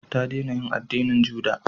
Ta dena yin addinin juda